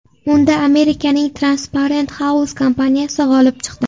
Unda Amerikaning Transparent House kompaniyasi g‘olib chiqdi.